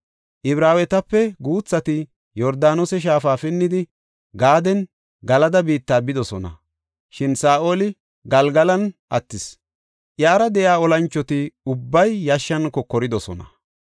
Ibraawetape guuthati Yordaanose shaafa pinnidi, Gaadenne Galada biitta bidosona. Shin Saa7oli Galgalan attis; iyara de7iya olanchoti ubbay yashshan kokoridosona.